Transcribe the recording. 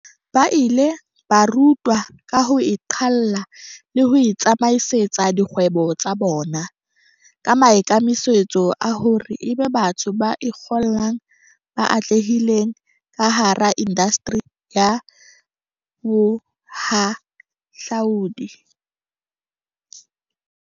Ba ile ba rutwa ka ho iqalla le ho itsamaisetsa dikgwebo tsa bona, ka maikemisetso a hore ebe batho ba ikgollang ba atlehileng kahara indasteri ya bohahlaudi.